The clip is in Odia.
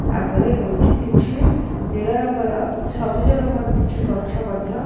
ଆଗରେ ହୋଇଚି କିଛି ନୀଳ ରଙ୍ଗ ର ସବୁଜ ରଙ୍ଗ ର କିଛି ଗଛ ମଧ୍ୟ।